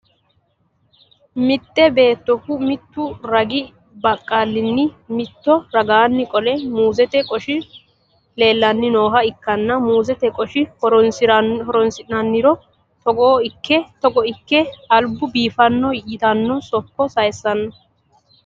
mitte beettohu mittu ragi baqqaalinna mitto ragaanni qole muuzete qoshi leelanni nooha ikkanna, muuzete qosha horonsi'niro togo ikke albu biifanno yitanno sokka sayiisanno.